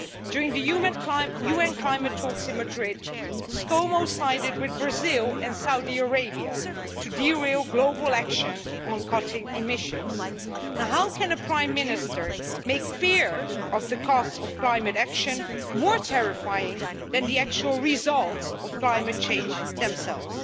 During the UN climate talks in Madrid, ScoMo' sided with Brazil and Saudi Arabia to derail global action on cutting emissions. How can a Prime Minister make fear of the costs of climate action more terrifying than the actual results of climate change themselves?